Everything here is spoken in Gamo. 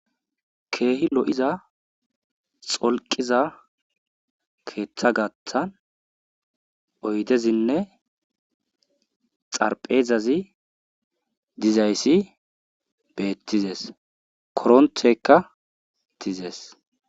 Keehi lo7iza xolqqiza keethagaathan oydezinne xarpheezazi dizayssa bettizes korontteyka thizees.